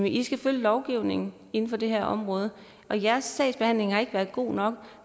i skal følge lovgivningen inden for det her område og jeres sagsbehandling har ikke været god nok